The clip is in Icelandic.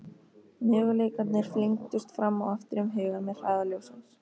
Möguleikarnir flengdust fram og aftur um hugann með hraða ljóssins.